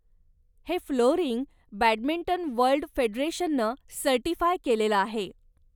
हे flooring badminton world फेडरेशननं certify केलेलं आहे.